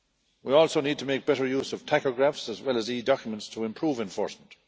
We also need to make better use of tachographs as well as e Documents to improve enforcement.